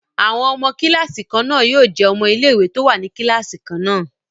Àwọn ọmọ kíláàsì kan náà jẹ́ ọmọ ilé ìwé tó wà ní kíláàsì kan náà